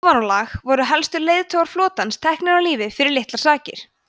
í ofanálag voru helstu leiðtogar flotans teknir af lífi fyrir litlar sakir